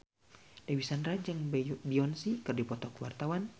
Dewi Sandra jeung Beyonce keur dipoto ku wartawan